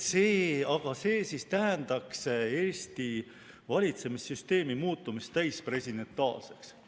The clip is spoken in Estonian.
Aga see tähendaks Eesti valitsemissüsteemi muutumist täispresidentaalseks.